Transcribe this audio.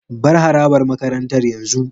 Bar harabar makarantar yanzu.